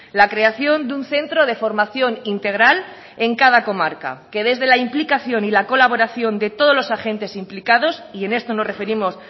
la creación de un centro de formación integral en cada comarca que desde la implicación y la colaboración de todos los agentes implicados y en esto nos referimos